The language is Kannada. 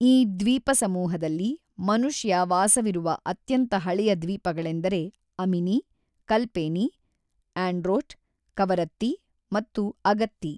ಈ ದ್ವೀಪಸಮೂಹದಲ್ಲಿ ಮನುಷ್ಯವಾಸವಿರುವ ಅತ್ಯಂತ ಹಳೆಯ ದ್ವೀಪಗಳೆಂದರೆ ಅಮಿನಿ, ಕಲ್ಪೇನಿ, ಆಂಡ್ರೋಟ್, ಕವರತ್ತಿ ಮತ್ತು ಅಗತ್ತಿ.